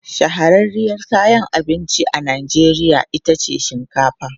Shahararriyar kayan abinci a Najeriya ita ce shinkafa.